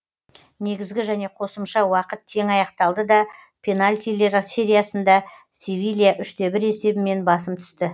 негізгі және қосымша уақыт тең аяқталды да пенальтилер сериясында севилья үш те бір есебімен басым түсті